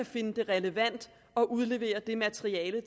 finder det relevant at udlevere det materiale